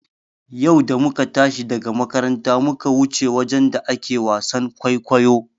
Yau da muka tashi daga makaranta muka wuce wajen da ake wasan kwaikwayo.